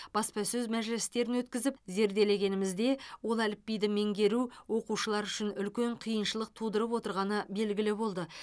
баспасөз мәжілістерін өткізіп зерделегенімізде ол әліпбиді меңгеру оқушылар үшін үлкен қиыншылық тудырып отырғаны белгілі болды